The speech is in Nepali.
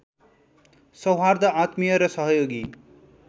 सौहार्द्र आत्मीय र सहयोगी